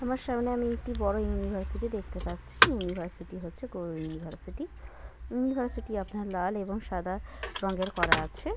আমার সামনে আমি একটি বড় ইউনিভারসিটি দেখতে পাচ্ছি। ইউনিভার্সিটি হচ্ছে গৌড় ইউনিভার্সিটি । ইউনিভার্সিটি আপনার লাল এবং সাদা রঙের করা আছে।